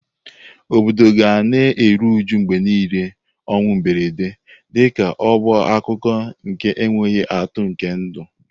Obodo ga na-eru uju mgbe niile ọnwụ mberede, dịka ọ bụ akụkụ nke enweghị atụ nke ndụ.